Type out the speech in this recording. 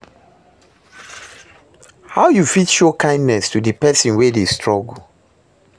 How you fit show kindness to di pesin wey dey struggle?